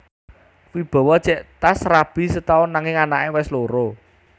Wibowo jek tas rabi setaun nanging anak e wes loro